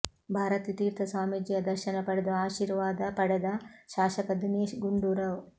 ಭಾರತಿ ತೀರ್ಥ ಸ್ವಾಮೀಜಿಯ ದರ್ಶನ ಪಡೆದು ಆಶೀರ್ವಾದ ಪಡೆದ ಶಾಸಕ ದಿನೇಶ್ ಗುಂಡೂರಾವ್